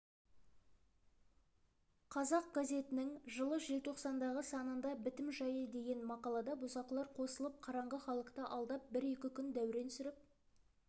қазақ газетінің жылы желтоқсандағы санында бітім жайы деген мақалада бұзақылар қосылып қараңғы халықты алдап бір-екі күн дәурен сүріп